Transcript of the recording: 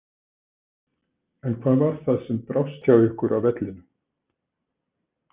En hvað var það sem brást hjá ykkur á vellinum?